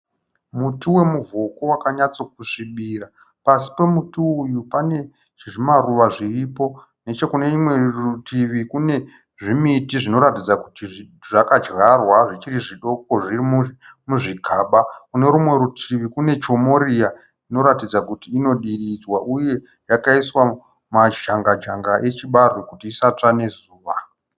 Muti wemuvhoko wakanyatsokusvibira. Pasi pemuti uyu panekuzvimaruva zviripo. Nechenekune rutivi kune zvimiti zvinoratidza kuti zvakadyarwa zvichiri zvidoko zvirimuzvimagaba. Kunerumwe rutivi kune chomoriya yadyarwa inoratidza kuti inodiridzwa uye yakaiswa majangajanga echibage kuti isatsva nezuva.